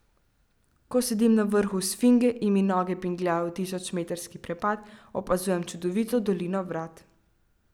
Ko sedim na vrhu Sfinge in mi noge bingljajo v tisočmetrski prepad, opazujem čudovito dolino Vrat.